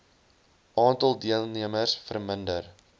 aantal deelnemers verminder